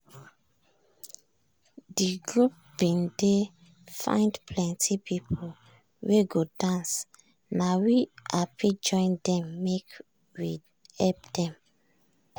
de group bin dey find plenti people wey go dance na we hapi join dem make we help dem.